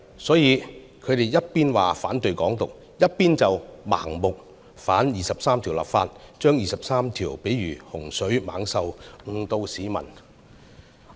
所以他們一方面說反對"港獨"，一方面卻盲目反對就《基本法》第二十三條立法，將第二十三條喻為洪水猛獸，誤導市民。